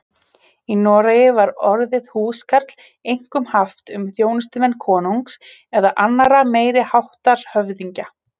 Í Noregi var orðið húskarl einkum haft um þjónustumenn konungs eða annarra meiri háttar höfðingja.